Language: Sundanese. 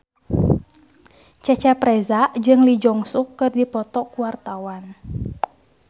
Cecep Reza jeung Lee Jeong Suk keur dipoto ku wartawan